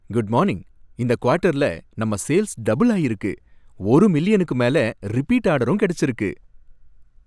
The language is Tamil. Good morning. இந்த குவாட்டர்ல நம்ம சேல்ஸ் டபுள் ஆயிருக்கு, ஒரு மில்லியனுக்கு மேல ரிப்பீட் ஆர்டரும் கிடைச்சிருக்கு.